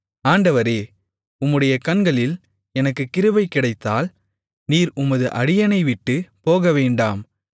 ஆண்டவரே உம்முடைய கண்களில் எனக்குக் கிருபை கிடைத்தால் நீர் உமது அடியேனைவிட்டுப் போகவேண்டாம்